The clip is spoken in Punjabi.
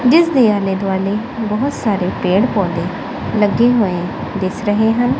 ਜਿੱਸ ਦੇ ਆਲੇ ਦੁਆਲੇ ਬੋਹੁਤ ਸਾਰੇ ਪੇੜ ਪੌਧੇ ਲੱਗੇ ਹੋਏ ਦਿੱਸ ਰਹੇ ਹਨ।